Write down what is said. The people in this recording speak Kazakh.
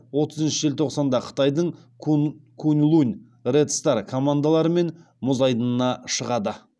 отызыншы желтоқсанда қытайдың куньлунь ред стар командаларымен мұз айдынына шығады